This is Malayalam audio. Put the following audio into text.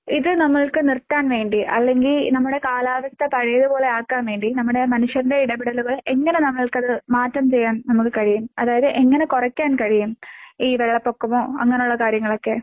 ഇത് നമ്മൾക്ക് നിർത്താൻ വേണ്ടി അല്ലെങ്കി നമ്മുടെ കാലാവസ്ഥ പഴയപോലെ ആക്കാൻ വേണ്ടി നമ്മുടെ മനുഷ്യരുടെ ഇടപെടലുകൾ എങ്ങനെ നമ്മൾക്കത് മാറ്റം ചെയ്യാൻ നമുക്ക് കഴിയും? അതായത് എങ്ങനെ കൊറയ്ക്കാൻ കഴിയും? ഈ വെള്ളപ്പൊക്കമോ അങ്ങനെയുള്ള കാര്യങ്ങളൊക്കെ?